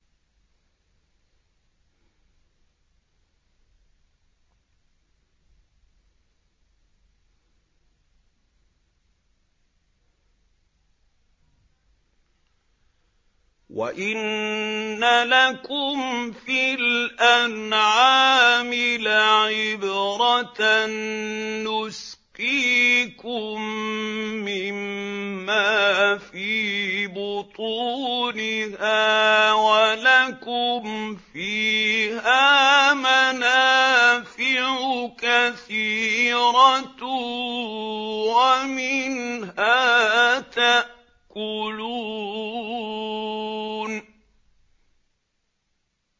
وَإِنَّ لَكُمْ فِي الْأَنْعَامِ لَعِبْرَةً ۖ نُّسْقِيكُم مِّمَّا فِي بُطُونِهَا وَلَكُمْ فِيهَا مَنَافِعُ كَثِيرَةٌ وَمِنْهَا تَأْكُلُونَ